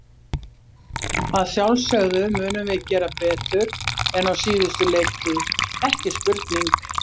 Að sjálfsögðu munum við gera betur en á síðustu leiktíð, ekki spurning.